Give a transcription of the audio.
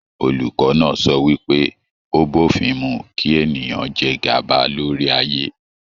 Olùkọ náà sọ wípé, o b'ofin mú kí ènìyàn jẹ gaba lórí ayé.